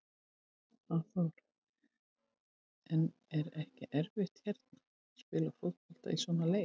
Hafþór: En er ekki erfitt að hérna, spila fótbolta í svona leir?